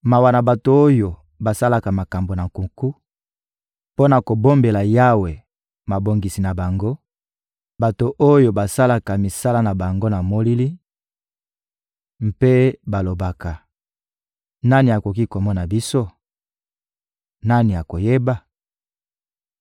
Mawa na bato oyo basalaka makambo na nkuku mpo na kobombela Yawe mabongisi na bango; bato oyo basalaka misala na bango na molili mpe balobaka: «Nani akoki komona biso? Nani akoyeba?»